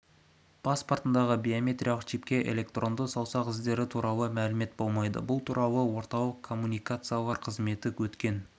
паспортындағы биометриялық чипте электронды саусақ іздері туралы мәлімет болмайды бұл туралы орталық коммуникациялар қызметінде өткен